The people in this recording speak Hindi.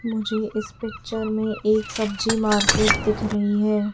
मुझे इस पिक्चर में एक सब्जी मार्केट दिख रही है।